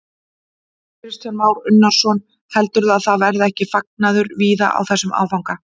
Kristján Már Unnarsson: Heldurðu að það verði ekki fagnaður víða á þessum áfanga?